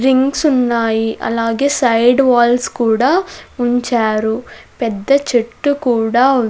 drinks ఉన్నాయి అలాగే side walls కూడా ఉంచారు పెద్ద చెట్టు కూడా --